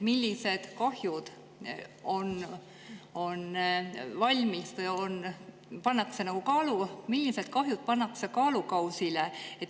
Millised kahjud pannakse kaalukausile?